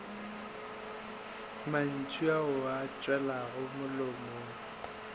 mantšu ao a tšwago molomong